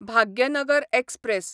Bhagyanagar express